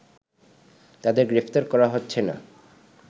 তাদের গ্রেফতার করা হচ্ছে না